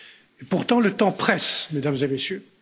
Et pourtant le temps presse, Mesdames et Messieurs.